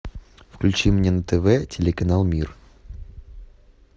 включи мне на тв телеканал мир